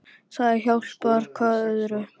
Það hjálpar hvað öðru.